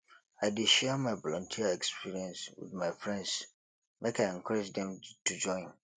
i dey share my volunteer experience wit my friends make i encourage dem to join